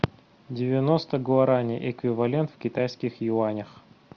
девяносто гуараней эквивалент в китайских юанях